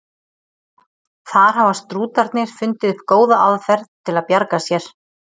Þar hafa strútarnir fundið upp góða aðferð til að bjarga sér.